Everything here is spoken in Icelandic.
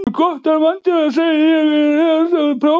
Svo glotti hann vandræðalega og sagði:-Ég er þá hálfgildings páfi?